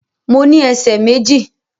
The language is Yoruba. Mo ní ẹsẹ̀ méjì